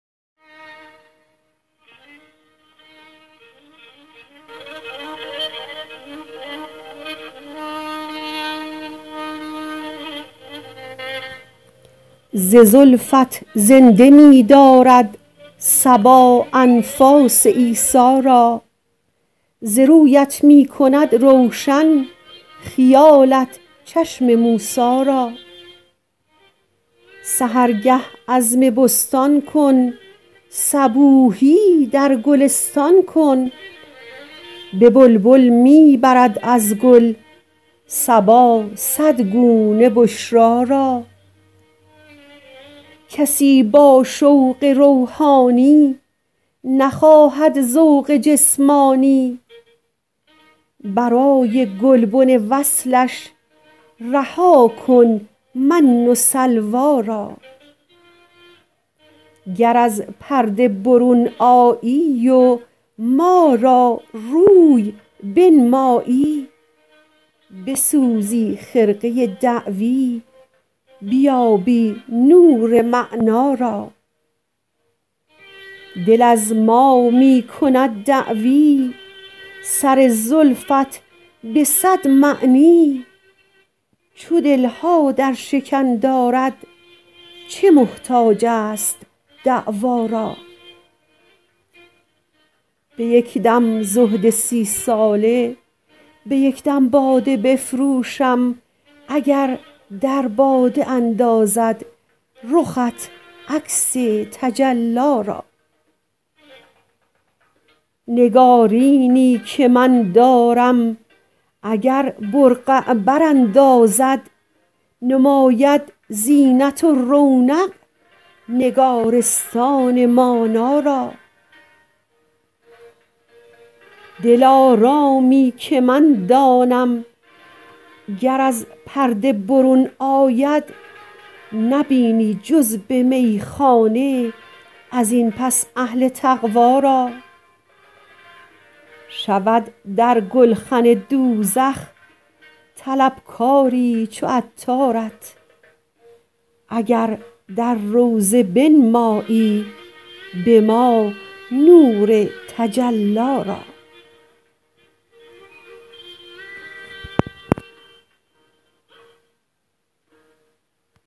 ز زلفت زنده می دارد صبا انفاس عیسی را ز رویت می کند روشن خیالت چشم موسی را سحرگه عزم بستان کن صبوحی در گلستان کن به بلبل می برد از گل صبا صد گونه بشری را کسی با شوق روحانی نخواهد ذوق جسمانی برای گلبن وصلش رها کن من و سلوی را گر از پرده برون آیی و ما را روی بنمایی بسوزی خرقه دعوی بیابی نور معنی را دل از ما می کند دعوی سر زلفت به صد معنی چو دل ها در شکن دارد چه محتاج است دعوی را به یک دم زهد سی ساله به یک دم باده بفروشم اگر در باده اندازد رخت عکس تجلی را نگارینی که من دارم اگر برقع براندازد نماند زینت و رونق نگارستان مانی را دلارامی که من دانم گر از پرده برون آید نبینی جز به میخانه ازین پس اهل تقوی را شود در گلخن دوزخ طلب کاری چو عطارت اگر در روضه بنمایی به ما نور تجلی را